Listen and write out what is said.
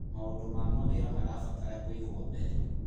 Maũndũ ma mawĩra marabatara kũigwo mbere.